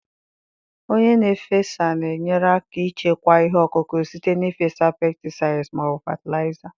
Onye na-efesa na-enyere aka ichekwa ihe ọkụkụ site n'ịfesa pesticides ma ọ bụ fatịlaịza.